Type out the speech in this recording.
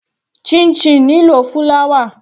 Chinchin nílò fúláwà.